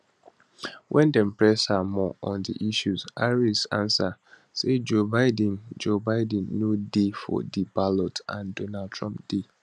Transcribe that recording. wen dem press her more on di issue harris answer say joe biden joe biden no dey for di ballot and donald trump dey